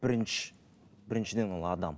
біріншіден ол адам